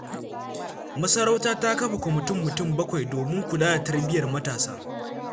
Masarauta ta kafa kwamitin mutum bakwai domin kula da tarbiyyar matasa.